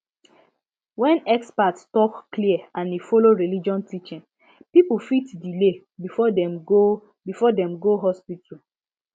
when experts talk clear and e follow religion teaching people fit delay before dem go before dem go hospital